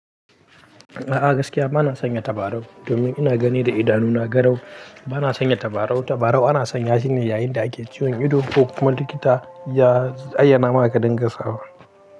A'a gaskiya bana sanya tabarau domin ina gani da idanuna garau. Bana sanya tabarau, tabarau ana sanya shine yayinda ake ciwon ido ko kuma likita ya ayyana maka dinga sawa.